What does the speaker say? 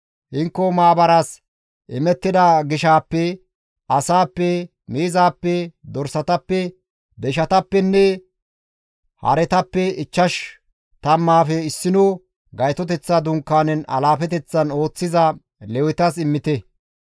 Hinko maabaras imettida gishaappe, asaappe, miizaappe, dorsatappe, deyshatappenne haretappe ichchash tammaafe issino Gaytoteththa Dunkaanen alaafeteththan ooththiza Lewetas immite.»